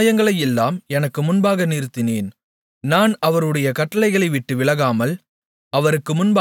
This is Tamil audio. அவருடைய நியாயங்களையெல்லாம் எனக்கு முன்பாக நிறுத்தினேன் நான் அவருடைய கட்டளைகளைவிட்டு விலகாமல்